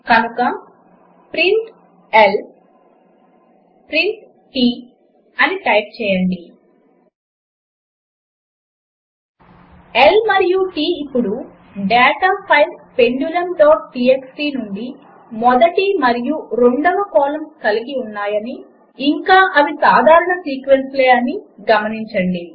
కనుక print L print T అని type చేయండి L మరియు T ఇప్పుడు డాటా ఫైల్ pendulumటీఎక్స్టీ నుండి మొదటి మరియు రెండవ కాలమ్స్ కలిగి ఉన్నాయని ఇంకా అవి సాధారణ సీక్వెన్సులనీ గమనించండి